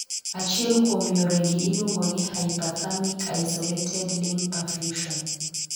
Achiel kuom yoregi iluongo ni 'hyperthermic isolated limb perfusion'.